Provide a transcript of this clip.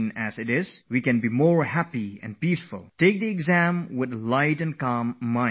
If you progress ahead in your exams fearlessly and happily, you are sure to gain success